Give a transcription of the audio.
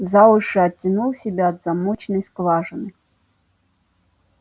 за уши оттянул себя от замочной скважины